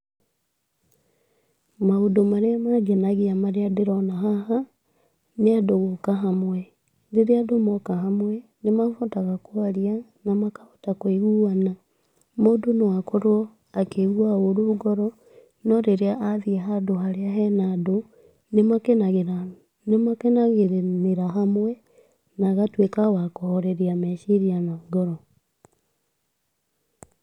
Maũndũ marĩa mangenagia marĩa ndĩrona haha, nĩ andũ gũka hamwe, rĩrĩa andũ moka hamwe, nĩmahotaga kwaria na makahota kwĩiguana, mũndũ no akorwo akĩigua ũrũ ngoro, no rĩrĩa athiĩ handũ harĩa hena andũ nĩmakenagĩra, nĩmakenagĩrĩra hamwe na agatuĩka wa kũhoreria meciria na ngoro.